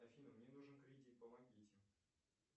афина мне нужен кредит помогите